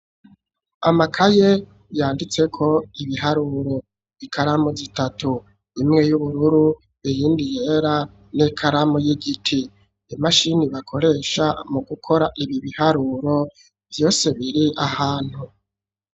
Amakaye yanditse ko ibiharuro ,ikaramu zitatu, imwe y'ubururu ,iyindi yera, n'ikaramu y'igiti, imashini bakoresha mu gukora ibi biharuro vyose biri ahantu.